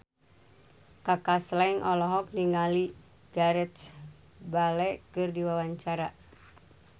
Kaka Slank olohok ningali Gareth Bale keur diwawancara